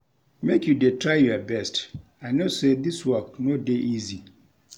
Make you dey try your best, I know sey dis work no dey easy.